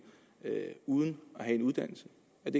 uden at have en uddannelse